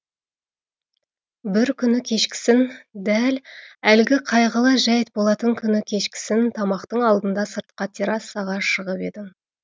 бір күні кешкісін дәл әлгі қайғылы жәйт болатын күні кешкісін тамақтың алдында сыртқа террасаға шығып едім